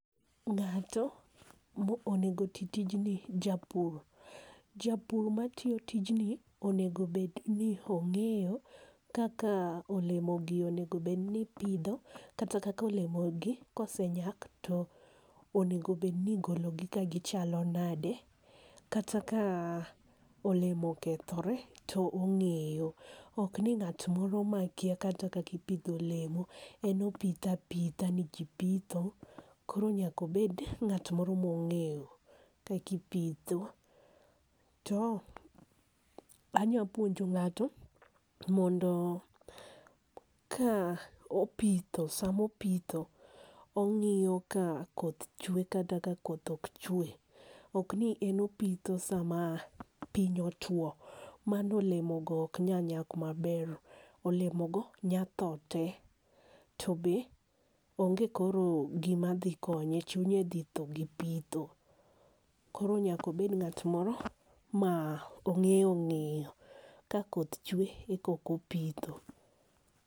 Ng'ato ma onego ti tijni japur. Japur ma tiyo tijni onego bed ni ong'eyo kaka olemo gi onego bed ni ipidho kata kaka olemo gi osenyak to onego bed ni igolo gi ka gi chal nade, kata ka olemo okethore to ongeyo ok ni ng'at moro ma kia kaka ipidho olemo en opidho apidha ni ji pitho. Koro nyaka obed ng'at moro ma ong'eyo kaka ipitho to anya puonjo ng'ato mondo ka opidho sa ma opitho ong'iyo ka koth chwe kata ka koth ok chwe. Ok ni en opitho sa ma piny otwo mano olemo go ok nyal nyak ma ber. Olemo go nya tho te to be onge koro gi ma dhi konye ,chunye dhi thoo gi pitho. Koro nyaka obed ng'at moro ma ong'eyo ka koth chwe koka opitho.